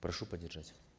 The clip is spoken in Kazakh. прошу поддержать